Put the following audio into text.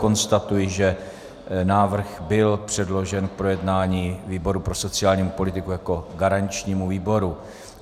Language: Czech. Konstatuji, že návrh byl předložen k projednání výboru pro sociální politiku jako garančnímu výboru.